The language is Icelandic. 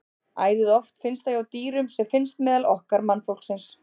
Ærið oft finnst það hjá dýrum sem finnst meðal okkar mannfólksins.